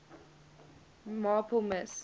marple miss